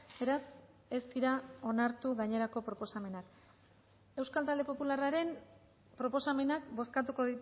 beraz ez dira onartu gainerako proposamenak euskal talde popularraren proposamenak bozkatuko